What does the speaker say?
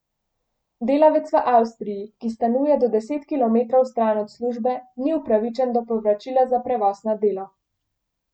Delavec v Avstriji, ki stanuje do deset kilometrov stran od službe, ni upravičen do povračila za prevoz na delo.